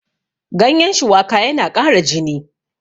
ganyen shuwaka yana ƙara jini